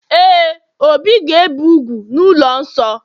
Ee, obi ga-ebe úgwù n'ụlọ nsọ